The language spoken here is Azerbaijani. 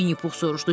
Vinnipux soruşdu.